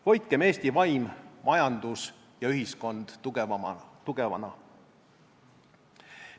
Hoidkem Eesti vaim, majandus ja ühiskond tugevana.